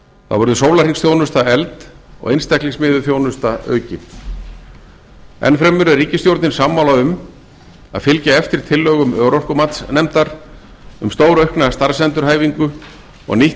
verður sólarhringsþjónusta efld og einstaklingsmiðuð þjónusta aukin enn fremur er ríkisstjórnin sammála um að fylgja eftir tillögum örorkumatsnefndar um stórauknar starfsendurhæfingu og nýtt